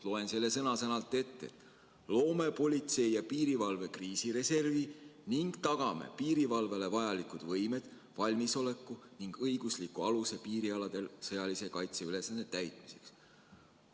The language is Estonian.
Loen selle sõna-sõnalt ette: "Loome politsei- ja piirivalve kriisireservi ning tagame piirivalvele vajalikud võimed, valmisoleku ning õigusliku aluse piirialadel sõjalise kaitse ülesannete täitmiseks.